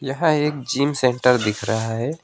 यह एक gym centre दिख रहा है।